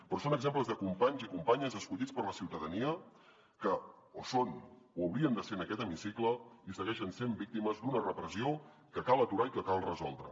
però són exemples de companys i companyes escollits per la ciutadania que o són o haurien de ser en aquest hemicicle i segueixen sent víctimes d’una repressió que cal aturar i que cal resoldre